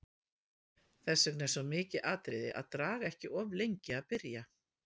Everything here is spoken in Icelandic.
Þess vegna er svo mikið atriði að draga ekki of lengi að byrja.